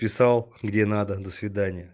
писал где надо до свидания